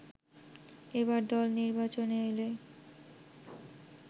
এবার দল নির্বাচনে এলে